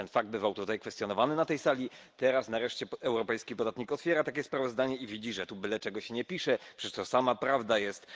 Ten fakt bywał tutaj kwestionowany na tej sali, teraz nareszcie europejski podatnik otwiera takie sprawozdanie i widzi, że tu byle czego się nie pisze, przecież to sama prawda jest.